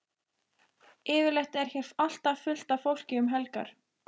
Yfirleitt er hér alltaf fullt af fólki um helgar.